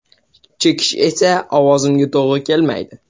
Chekish esa ovozimga to‘g‘ri kelmaydi.